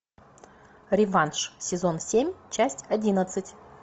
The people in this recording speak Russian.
реванш сезон семь часть одиннадцать